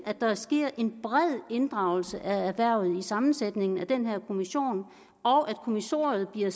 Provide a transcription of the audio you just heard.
at der sker en bred inddragelse af erhvervet i sammensætningen af denne kommission og at kommissoriet bliver